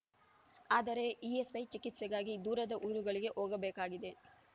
ಆದರೆ ಇಎಸ್‌ಐ ಚಿಕಿತ್ಸೆಗಾಗಿ ದೂರದ ಊರುಗಳಿಗೆ ಹೋಗಬೇಕಾಗಿದೆ